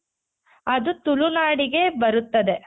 ಅದು ತುಳುನಾಡಿಗೆ ಬರುತ್ತದೆ.